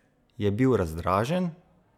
Je bil razdražen?